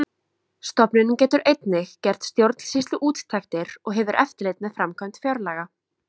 Stofnunin getur einnig gert stjórnsýsluúttektir og hefur eftirlit með framkvæmd fjárlaga.